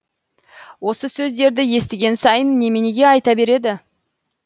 осы сөздерді естіген сайын неменеге айта береді